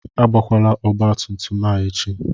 Agbakwala ọgbatumtum a echi!